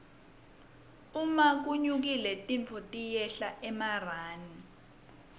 uma wlnyukile tintfo tiyehla emarani